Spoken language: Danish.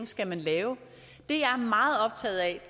skal lave